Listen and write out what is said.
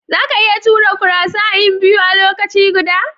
Zaka iya tura karusai'n biyu a lokaci guda?